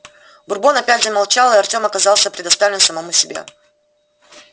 бурбон опять замолчал и артём оказался предоставлен самому себе